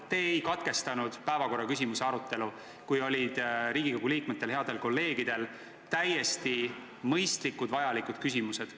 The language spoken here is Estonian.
Te ei katkestanud päevakorraküsimuse arutelu, kui Riigikogu liikmetel, headel kolleegidel olid täiesti mõistlikud ja vajalikud küsimused.